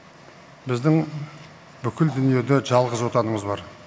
біздің бүкіл дүниеде жалғыз отанымыз бар